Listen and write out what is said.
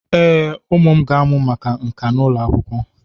Ee, Ụmụ m ga-amụ maka nka n'ụlọ akwụkwọ.